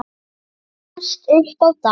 Nánast upp á dag.